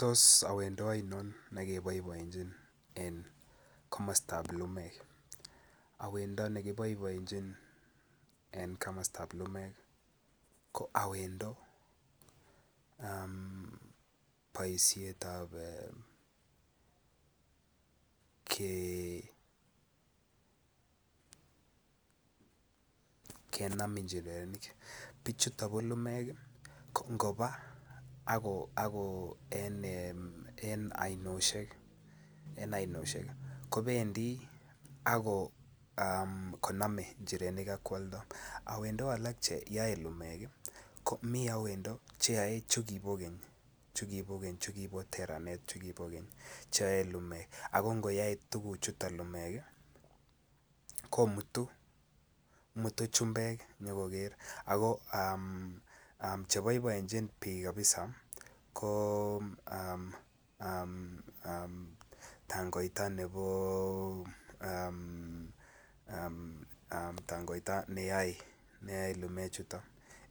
Tos awendo oinon ne keboiboienyin en komostan lumek. Awendo ne keboiboienyin en komostab lumek ko awendo um boishetab um ke kenam njirenik bichuton ko lumeek ii ako baa ako en ee oinoshek en oinoshek kobendi ak konome njirenik ak kwoldo, owendo alak cheyoe lumeek ii ko miten awendo che yoe chukipo keny chukibo teranet chukibo keny che yoe lumeek ak ngoyoe tuguchuton lumeek ii komutu mutu chubeek nyogoger ako um che boiboenjinii biik kabisa ko um tangoita nebo um tangoita neyoe lumeek chuton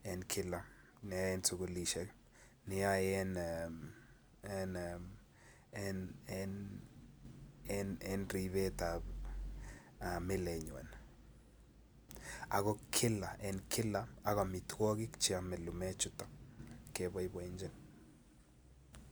neyoe kilaa en sukulishek neyoe en ee en ribetab milenywan. Ako kila en kila ak omitwokik che ome lumeek chuton keboiboienyin